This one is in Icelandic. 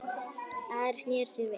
Ari sneri sér við.